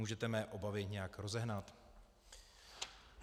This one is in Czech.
Můžete mé obavy nějak rozehnat?